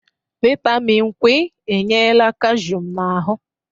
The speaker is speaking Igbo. Vitamịn Kwi enyela kashụm n'ahụ.